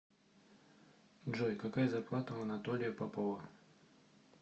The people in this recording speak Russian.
джой какая зарплата у анатолия попова